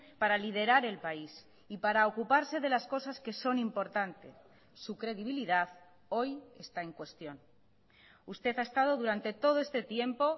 para liderar el país y para ocuparse de las cosas que son importantes su credibilidad hoy está en cuestión usted ha estado durante todo este tiempo